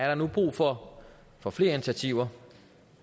der nu er brug for for flere initiativer